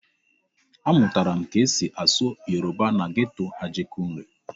Amụtara m etu esi asụ Yoruba na geto Ajegunle.